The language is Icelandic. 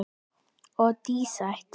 Og dísætt.